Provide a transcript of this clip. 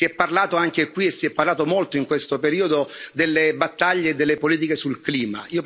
Si è parlato anche qui, e si è parlato molto in questo periodo, delle battaglie e delle politiche sul clima.